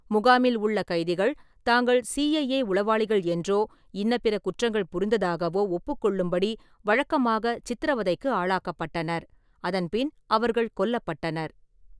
முகாமில் உள்ள கைதிகள் தாங்கள் சிஐஏ உளவாளிகள் என்றோ இன்னபிற குற்றங்கள் புரிந்ததாகவோ ஒப்புக்கொள்ளும்படி வழக்கமாக சித்திரவதைக்கு ஆளாக்கப்பட்டனர், அதன்பின் அவர்கள் கொல்லப்பட்டனர்.